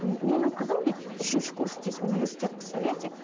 менің қызым дейді үшінші курс дейді университет представляете